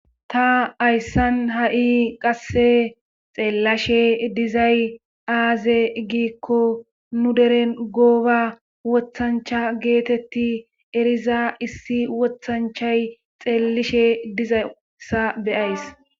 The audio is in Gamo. ta hayssan ha7i qasse xeellashe dizay aaze giikko nu deren gooba wothancha geetetti eriza issi wothanchay xeellishe dizayssa be7ays.